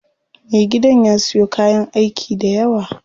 Me gidan ya siyo kayan aiki dayawa.